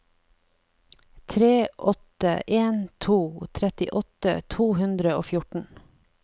tre åtte en to trettiåtte to hundre og fjorten